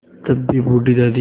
तब भी बूढ़ी दादी